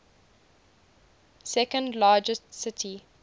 second largest city